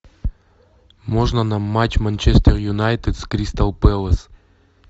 можно нам матч манчестер юнайтед с кристал пэлас